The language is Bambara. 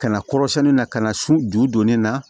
Ka na kɔrɔsɛni na ka na su ju don ne na